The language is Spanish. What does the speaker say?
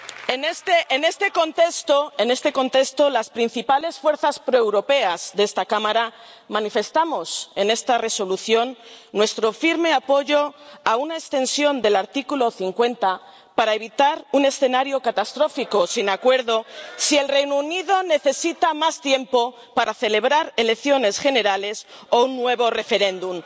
En este contexto, las principales fuerzas proeuropeas de esta Cámara manifestamos en esta propuesta de Resolución nuestro firme apoyo a una prórroga del artículo 50 para evitar un escenario catastrófico, sin acuerdo, si el Reino Unido necesita más tiempo para celebrar elecciones generales o un nuevo referéndum.